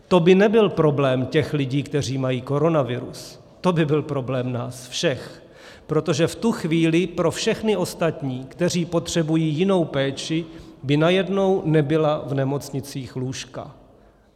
To by nebyl problém těch lidí, kteří mají koronavirus, to by byl problém nás všech, protože v tu chvíli pro všechny ostatní, kteří potřebují jinou péči, by najednou nebyla v nemocnicích lůžka.